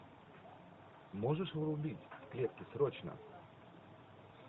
можешь врубить в клетке срочно